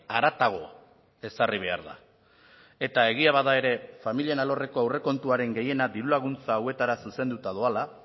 haratago ezarri behar da eta egia bada ere familien alorreko aurrekontuaren gehiena diru laguntza hauetara zuzenduta doala